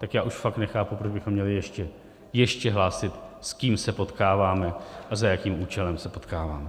Tak já už fakt nechápu, proč bychom měli ještě hlásit, s kým se potkáváme a za jakým účelem se potkáváme.